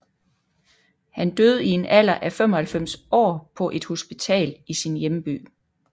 Han døde i en alder af 95 år på et hospital i sin hjemby